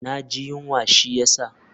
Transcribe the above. Na ji yunwa shi ya sa.